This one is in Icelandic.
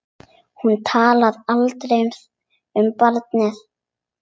Hún talar aldrei um barnið.